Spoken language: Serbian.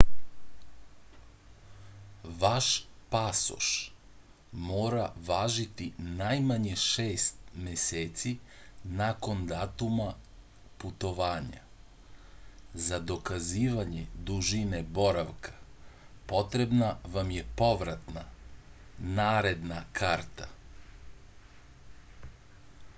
ваш пасош мора важити најмање 6 месеци након датума путовања. за доказивање дужине боравка потребна вам је повратна/наредна карта